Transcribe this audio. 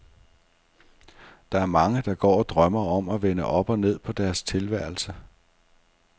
Der er mange, der går og drømmer om at vende op og ned på deres tilværelse.